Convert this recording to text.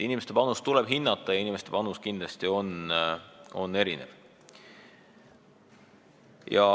Inimeste panust tuleb hinnata ja inimeste panus on erinev.